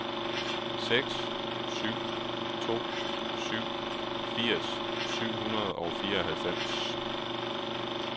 seks syv to syv firs syv hundrede og fireoghalvfems